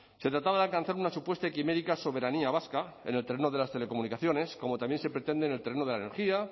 se trataba de alcanzar una supuesta y quimérica soberanía vasca en el terreno de las telecomunicaciones como también se pretende en el terreno de la energía